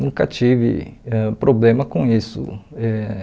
Nunca tive ãh problema com isso. Eh